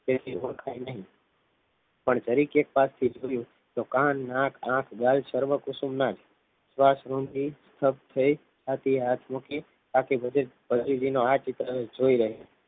જરીક્ક ભી ઓરખાએ નહીં પણ નજીક થી જાઉં થો કાન નાક આખ ગાલ સર્વ કુસુમ નાજ સવાસ રૂમ થી સવ્સ થી તે હાથ મૂકી હાથ ચિત રહેલો જોઈ રહેઉ છે